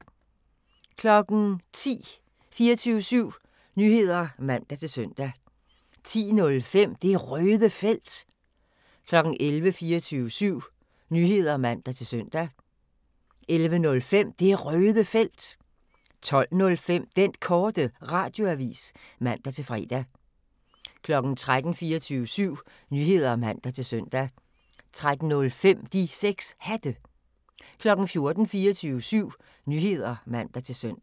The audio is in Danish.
10:00: 24syv Nyheder (man-søn) 10:05: Det Røde Felt 11:00: 24syv Nyheder (man-søn) 11:05: Det Røde Felt 12:05: Den Korte Radioavis (man-fre) 13:00: 24syv Nyheder (man-søn) 13:05: De 6 Hatte 14:00: 24syv Nyheder (man-søn)